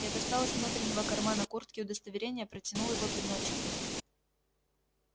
я достал из внутреннего кармана куртки удостоверение протянул его пеночкину